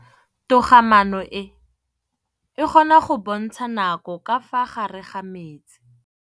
Toga-maanô e, e kgona go bontsha nakô ka fa gare ga metsi.